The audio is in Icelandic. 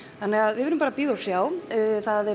við verðum bara að bíða og sjá